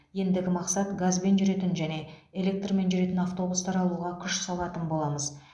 ендігі мақсат газбен жүретін және электрмен жүретін автобустар алуға күш салатын боламыз